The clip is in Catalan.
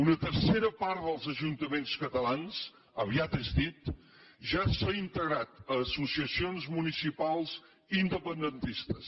una tercera part dels ajuntaments catalans aviat és dit ja s’ha integrat a associacions municipals independentistes